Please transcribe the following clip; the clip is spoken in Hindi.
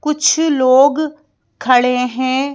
कुछ लोग खड़े हैं।